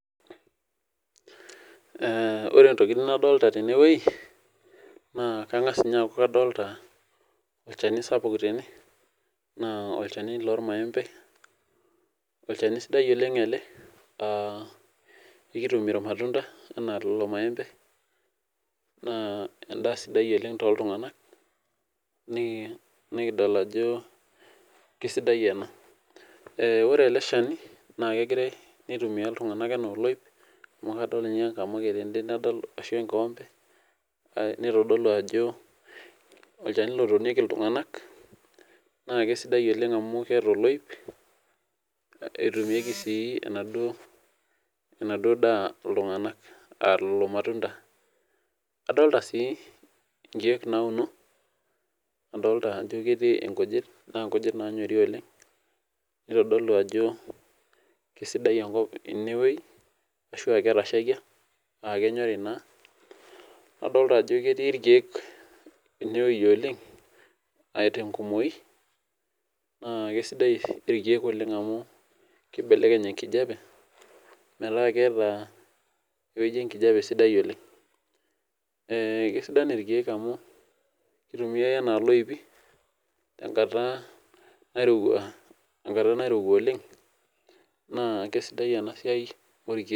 Ore ntokitin nadolita tenewueji kangasa aaku kadolita olchanu sapuk tene na olchanu lormaembe olchani sidai ele amu ekitumie maua anaa lolomaembe na endaa sidai oleng toltunganak nikidol ajo kesidai ena ore eleshani nakegira aitumia ltunganak ana oloip amu adolta enkikombe nitodolu ajo olchani otonieki ltunganak na kesidai oleng amu keeta oloip etumieki ai enaduo ltunganak ilo matunda adolita si nkiek nauno adolita si ajo etiu nkujit na nkujit naanyori najobkesidai enkop tenewueji ashu ketashakia amu ketashakia nadolita ajo ketii irkiek enewueji atii nkumoi na kesidai irkiek oleng amu kibelekeny enkijape metaa keeta ewoi enkijape sidai oleng kesidai irkiek oleng amu kitumiai anaa loipi tenkata nairowua oleng nakesidai enasiai orkiek.